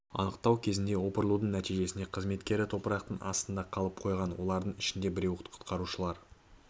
анықтау кезінде опырылудың нәтижесінде қызметкері топырақтың астында астында қалып қойған олардың ішінде біреуі құтқарушылар